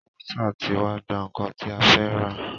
Wáítà tí wá gbà nnkan tí a fẹ́ rà.